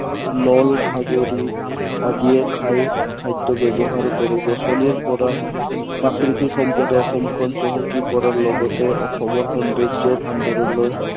নল খাগৰি আদিয়ে খাই, খাদ্য় ব্য়ৱহাৰ কৰে। গছনিৰ পৰা প্ৰাকৃতিক সম্পদক অসমখন চহকী কৰাৰ লগতে অসমৰ সৌন্দৰ্য ভাণ্ডাৰলৈ